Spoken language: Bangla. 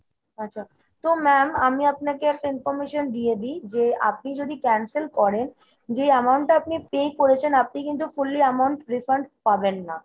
আচ্ছা। তো ma'am আমি আপনাকে একটা information দিয়ে দিই যে আপনি যদি cancel করেন যে amount টা আপনি pay করেছেন আপনি কিন্তু fully amount refund পাবেন না।